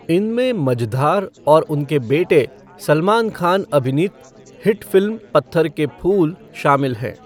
इनमें मँझधार और उनके बेटे सलमान खान अभिनीत हिट फ़िल्म पत्थर के फूल शामिल हैं।